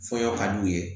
Fɔɲɔ ka d'u ye